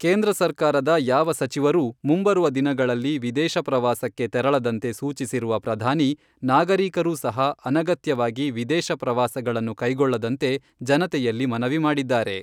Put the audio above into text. ಕೇಂದ್ರ ಸರ್ಕಾರದ ಯಾವ ಸಚಿವರೂ ಮುಂಬರುವ ದಿನಗಳಲ್ಲಿ ವಿದೇಶ ಪ್ರವಾಸಕ್ಕೆ ತೆರಳದಂತೆ ಸೂಚಿಸಿರುವ ಪ್ರಧಾನಿ ನಾಗರಿಕರೂ ಸಹ ಅನಗತ್ಯವಾಗಿ ವಿದೇಶ ಪ್ರವಾಸಗಳನ್ನು ಕೈಗೊಳ್ಳದಂತೆ ಜನತೆಯಲ್ಲಿ ಮನವಿ ಮಾಡಿದ್ದಾರೆ.